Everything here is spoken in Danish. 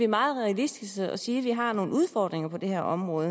meget realistiske og siger at vi har nogle udfordringer på det her område